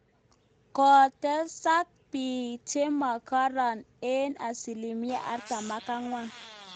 Kokotesak biik chemagareek eng asilimia artam ak angwan